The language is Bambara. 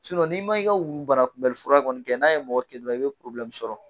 n'i ma i ka wuu banakunbɛli fura kɔni kɛ n'a ye mɔgɔ kin dɔrɔn i be sɔrɔ.